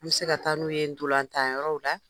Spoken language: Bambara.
An bɛ se ka taa n'u ye ntolatan yɔrɔw la!